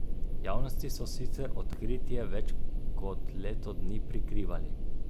Javnosti so sicer odkritje več kot leto dni prikrivali.